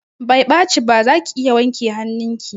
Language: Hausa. Bai ɓaci ba, zaki iya wanke hanun ki